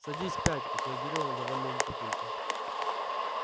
садись пять отреагировал довольный папулька